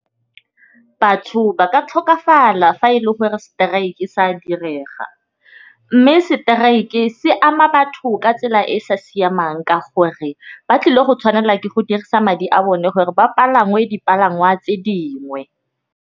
Batho ba ka tlhokafala fa e le gore strike sa direga, mme strike se ama batho ka tsela e sa siamang ka gore ba tlile go tshwanela ke go dirisa madi a bone ke gore ba dipalangwa tse dingwe.